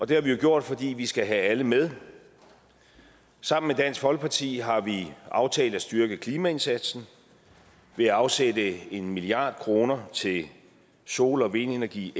det har vi jo gjort fordi vi skal have alle med sammen med dansk folkeparti har vi aftalt at styrke klimaindsatsen ved at afsætte en milliard kroner til sol og vindenergi